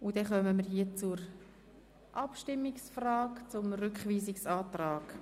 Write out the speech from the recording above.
Somit kommen wir zur Abstimmung über den Rückweisungsantrag.